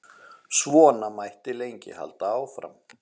Svona mætti lengi halda áfram.